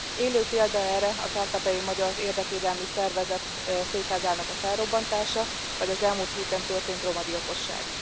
Élő példa erre a kárpátaljai magyar érdekvédelmi szervezet székházának a felrobbantása, vagy az elmúlt héten történt romagyilkosság.